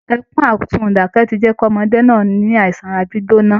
Ẹkún àsunǹdákẹ́ ti jẹ́ kí ọmọdé náà ní àìsàn ara gbígbóná